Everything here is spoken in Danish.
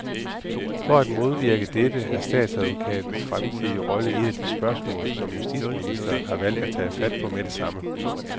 For at modvirke dette er statsadvokatens fremtidige rolle et af de spørgsmål, som justitsministeren har valgt at tage fat på med det samme.